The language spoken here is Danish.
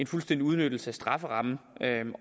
fuldstændig udnyttelse af strafferammen